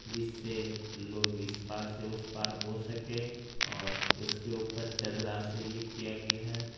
जिससे लोग इस पार से उस पार हो सके और उसके ऊपर चदरा से ये किया गया है।